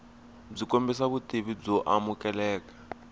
byi kombisa vutivi byo amukeleka